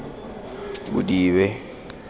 bodibe